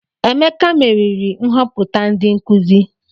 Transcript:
Emeka meriri nhoputa ndi nkuzi.